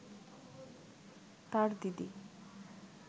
তাঁর দিদি